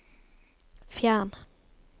fjern